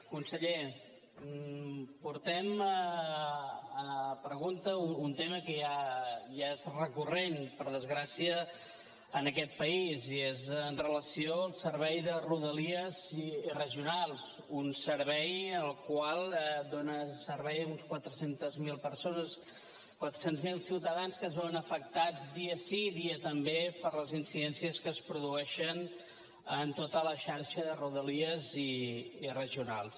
conseller portem a pregunta un tema que ja és recurrent per desgràcia en aquest país i és amb relació al servei de rodalia i regionals un servei que dóna servei a unes quatre cents miler persones quatre cents miler ciutadans que es veuen afectats dia sí dia també per les incidències que es produeixen en tota la xarxa de rodalia i regionals